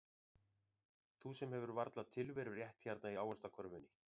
Þú sem hefur varla tilverurétt hérna í ávaxtakörfunni.